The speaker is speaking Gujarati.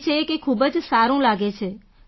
કહે છે કે ખૂબ જ સારું લાગે છે